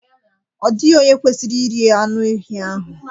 Ọ dịghị onye kwesịrị iri anụ ehi ahụ